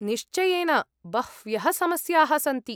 निश्चयेन बह्व्यः समस्याः सन्ति।